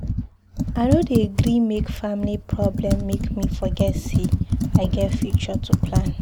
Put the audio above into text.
I no dey gree make family problem make me forget sey I get future to plan.